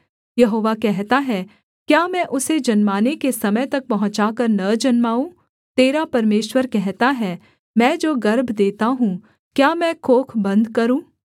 यहोवा कहता है क्या मैं उसे जन्माने के समय तक पहुँचाकर न जन्माऊँ तेरा परमेश्वर कहता है मैं जो गर्भ देता हूँ क्या मैं कोख बन्द करूँ